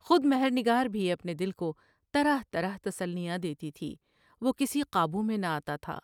خودمہبر نگار بھی اپنے دل کو طرح طرح تسلیاں دیتی تھیں وہ کسی قابو میں نہ آ تا تھا ۔